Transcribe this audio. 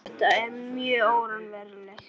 Þetta er mjög óraunverulegt.